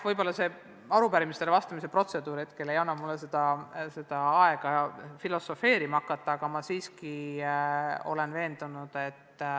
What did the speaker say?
Võib-olla siinne arupärimisele vastamise protseduur ei anna mulle hetkel aega, et filosofeerima hakata, aga ma olen muutuses siiski veendunud.